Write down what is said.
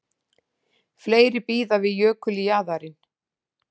Fleiri bíða við jökuljaðarinn